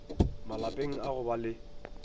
malapeng a go ba le